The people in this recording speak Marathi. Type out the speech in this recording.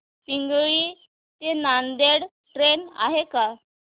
पिंगळी ते नांदेड ट्रेन आहे का